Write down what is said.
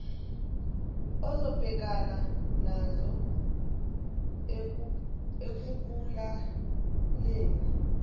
ozobhekana nazo ekubulaleni